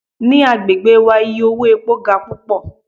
Ni agbegbe wa iye owo epo ga pupọ